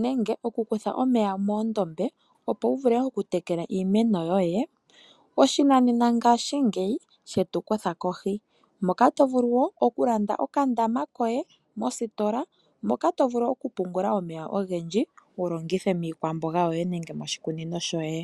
nenge okukutha omeya moondombe, opo wu vule okutekela iimeno yoye, oshinanena ngashingeyi she tu kutha kohi, moka to vulu wo okulanda okandama koye mositola, moka to vulu okupungula omeya ogendji wu longithe miikwamboga yoye nenge moshikunino shoye.